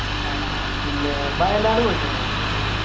ആഹ് പിന്നെ വയനാട് പോയിട്ടുണ്ടോ